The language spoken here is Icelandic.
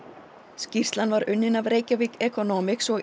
skýrslan var unnin af Reykjavík Economics og